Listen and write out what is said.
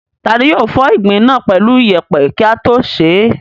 Ta ni yóò fọ ìgbín náà pẹ̀lú ìyẹ̀pẹ̀ kí á tó sè é?